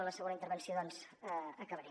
a la segona intervenció doncs acabaré